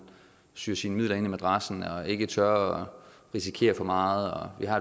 syer sine midler ind i madrassen og ikke tør at risikere for meget vi har